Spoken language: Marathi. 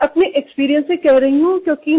मी हे स्वानुभवावरुन बोलत आहे